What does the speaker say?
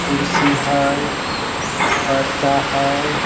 कुर्सी हई पर्दा हई।